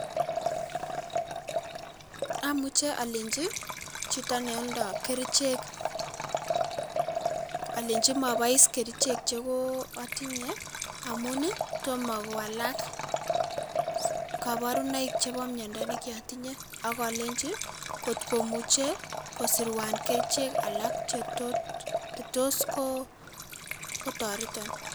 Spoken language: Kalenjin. Amuche alenji ii jito neoldo kerichek alenji mabois kerijek jeko atinye amun ii Tomo kowalak kaborunoik chebo miondo ne kiotinye ako akolenji ii ngotkomuche kosirwan kerichek alak jetot jetos Koo kotaretan.